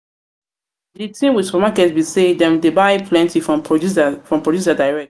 di thing with supermarket be sey dem dey buy plenty from producer direct